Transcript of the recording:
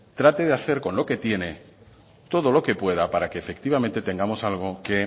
trate de hacer con lo que tiene todo lo que pueda para que efectivamente tengamos algo que